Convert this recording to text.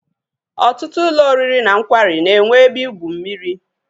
Ọtụtụ ụlọ oriri na nkwari na-enwe ebe igwu mmiri.